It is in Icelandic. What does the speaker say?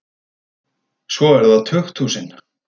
Svo eru það tukthúsin.